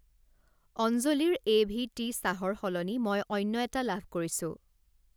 অঞ্জলি ৰ এ.ভি.টি. চাহ ৰ সলনি মই অন্য এটা লাভ কৰিছোঁ।